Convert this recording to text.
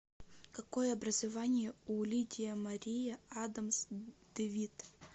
какое образование у лидия мария адамс девитт